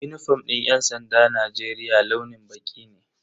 Unifom din yan sandan Najeriya launin baƙi ne.